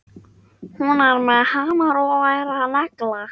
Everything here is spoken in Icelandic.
Hún er með hamar og er að negla.